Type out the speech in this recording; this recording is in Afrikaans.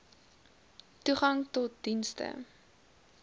toegang tot dienste